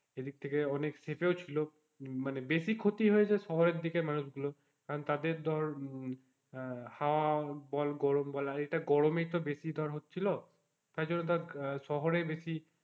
এদিকে থেকে অনেক safe ও ছিলো মানে বেশি ক্ষতি হয়েছে শহরের দিকে মানুষ গুলো কারণ তাদের ধর আহ হাওয়া বল গরম বল আর এটা গরমেই তো ধর বেশি হচ্ছিলো তাই জন্যে তার শহরেই বেশি,